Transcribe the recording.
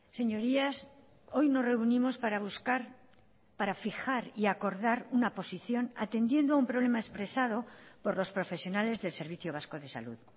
señorías hoy nos reunimos para buscar para fijar y acordar una posición atendiendo un problema expresado por los profesionales del servicio vasco de salud